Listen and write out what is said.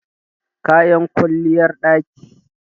kayan kwalliyar ɗaki